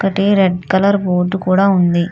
ఒకటి red colour board కూడా ఉంది.